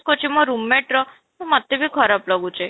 କରୁଛି ମୋ room mate ର ମୋତେ ବି ଖରାପ ଲାଗୁଛି